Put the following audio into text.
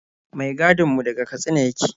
Mai gadin mu daga Katsina yake.